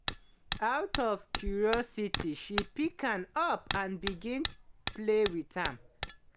out of curiosity she pick am up and begin play wit am.